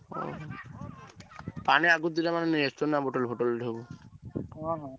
ଓହୋ। ପାଣି ଆଗତୁରା ନେଇ ଆସୁଛ ନାଁ ବତେଲ ଫତଳ ସବୁ?